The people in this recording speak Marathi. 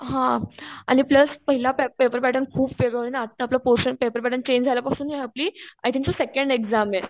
हा आणि प्लस पहिला पेपर पॅटर्न खूप वेगळा होता आणि आता आपला पोरशन पेपर पॅटर्न चेंज झाल्यापासून हि आपली आयथिंग सेकंड एक्सामे.